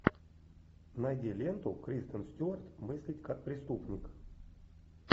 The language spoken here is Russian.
найди ленту кристен стюарт мыслить как преступник